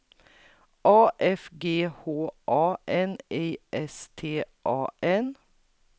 A F G H A N I S T A N